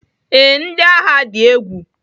Ee, ndị agha dị egwu.